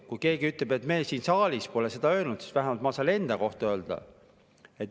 Kui keegi ütleb, et me siin saalis pole seda öelnud, siis vähemalt saan mina enda kohta öelda.